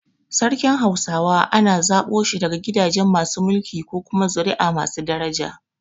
Sarkin hausawa ana zaɓo shi daga gidaje masu mulki ko kuma zuri’a masu daraja.